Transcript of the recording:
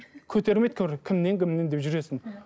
көтермейді кімнен кімнен деп жүресің иә